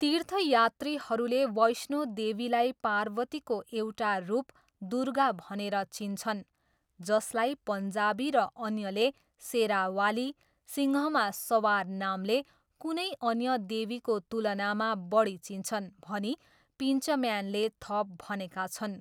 तीर्थयात्रीहरूले वैष्णो देवीलाई पार्वतीको एउटा रूप दुर्गा भनेर चिन्छन्, जसलाई पन्जाबी र अन्यले शेरावाली, सिंहमा सवार नामले, कुनै अन्य देवीको तुलनामा बढी चिन्छन् भनी पिन्चम्यानले थप भनेका छन्।